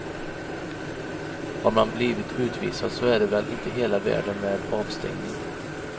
Har man blivit utvisad så är det väl inte hela världen med avstängning.